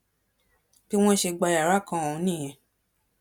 bí wọn ṣe gba yàrá kan ọhún nìyẹn